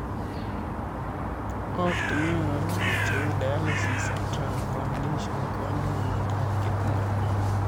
Ortunwek alak cheu dialysis ak transplantation kenyae miomndop kidney